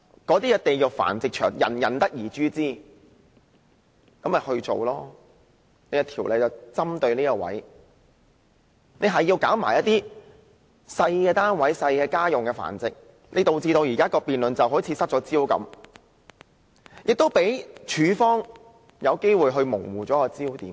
對於"地獄繁殖場"，人人得而誅之，政府本應針對此方面訂定法例，但現在卻針對小單位的住家繁殖，導致現在的辯論好像失去了焦點，亦讓署方有機會模糊了焦點。